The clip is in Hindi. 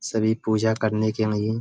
सभी पूजा करने के लिए --